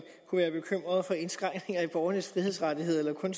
kunne være bekymret for indskrænkninger i borgernes frihedsrettigheder eller om